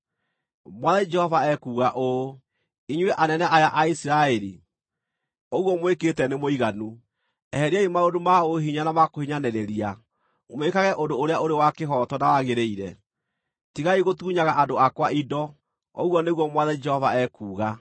“ ‘Mwathani Jehova ekuuga ũũ: Inyuĩ anene aya a Isiraeli, ũguo mwĩkĩte nĩ mũiganu! Eheriai maũndũ ma ũhinya na ma kũhinyanĩrĩria, mwĩkage ũndũ ũrĩa ũrĩ wa kĩhooto na wagĩrĩire. Tigai gũtunyaga andũ akwa indo, ũguo nĩguo Mwathani Jehova ekuuga.